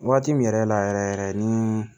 Waati min yɛrɛ la yɛrɛ yɛrɛ ni